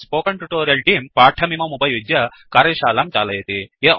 spoken tutorial तेऽं पाठमिममुपयुज्य कार्यशालां चालयति